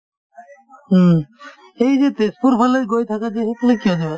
উম, এই যে তেজপুৰফালে গৈ থাকা যে সেইফালে কিয় যোৱা ?